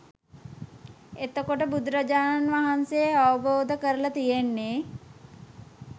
එතකොට බුදුරජාණන් වහන්සේ අවබෝධ කරල තියෙන්නේ